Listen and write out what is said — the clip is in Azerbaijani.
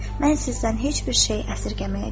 “Mən sizdən heç bir şey əsirgəməyəcəyəm.”